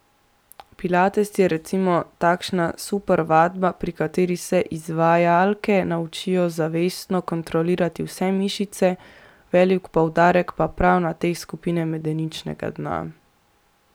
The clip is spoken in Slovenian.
Pilates je recimo takšna super vadba, pri kateri se izvajalke naučijo zavestno kontrolirati vse mišice, velik poudarek pa je prav na teh iz skupine medeničnega dna.